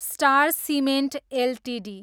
star cement Ltd